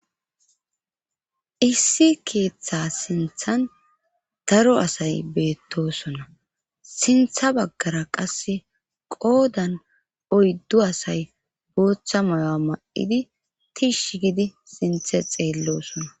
issi keeththa sinthan daro asay beettosona sintha baggara qase qoodan oyddu asay booththa moya ma7idi tiish gidi sinthe xeellosona